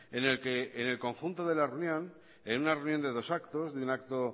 en el que en el conjunto de la reunión en una reunión de dos actos de un acto